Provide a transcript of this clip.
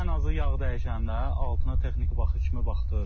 Ən azı yağ dəyişəndə altına texniki baxış kimi baxdırırıq.